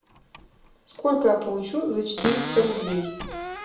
сколько я получу за четыреста рублей